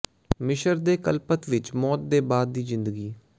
ਮਿਸਰ ਦੇ ਕਲਪਤ ਵਿਚ ਮੌਤ ਦੇ ਬਾਅਦ ਦੀ ਜ਼ਿੰਦਗੀ